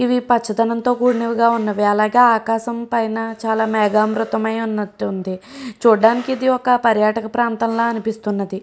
వి పచ్చదనంతో కూడుకుని ఉన్నవి అలాగే పైన ఆకాశం పైన చాలా మెగా అమృతమై ఉన్నట్టు ఉంది చూడడానికి ఇది ఒక పర్యాటక ప్రాంతం లాగా అనిపిస్తుంది.